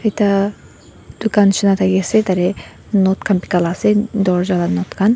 ekta dukan nishina thakiase tate knob khan bikai la ase dorja la knob khan.